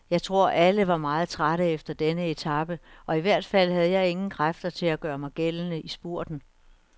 Jeg tror, alle var meget trætte efter denne etape, og i hvert fald havde jeg ingen kræfter til at gøre mig gældende i spurten.